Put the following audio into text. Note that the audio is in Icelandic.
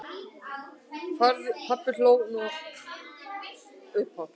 Pabbi hló nú upphátt.